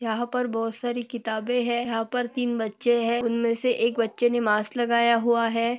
यहाँ पर बहुत सारी किताबे है यहाँ पर तीन बच्चे है उन मे से एक बच्चे ने मास्क लगाया हुआ है।